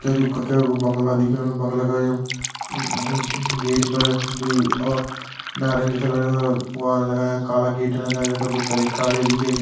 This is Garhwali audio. क्या दू कै कू बंगला दिखेणु बंगला का यं अ गेट पर दुई और नारंगी कलर का वाण लगायां काला गेट लगायां वैका भितर एक गाड़ी दिखेणी।